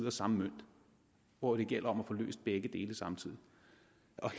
af samme mønt hvor det gælder om at få løst begge dele samtidig